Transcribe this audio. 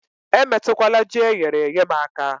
Emetụkwala Ji eyere èyé m aka